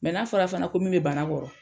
n'a fɔra fana ko min be bana kɔrɔ